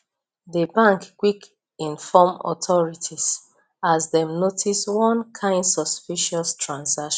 the bank quick inform authorities as dem notice one kind suspicious transaction